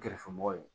Kɛrɛfɛmɔgɔw ye